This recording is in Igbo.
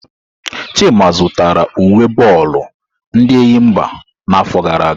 Chima zụtara uwe bọọlụ ndi Enyimba n'afọ gara aga.